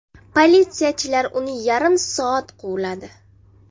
Politsiyachilar uni yarim soat quvladi.